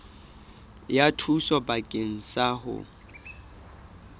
ya thuso bakeng sa ho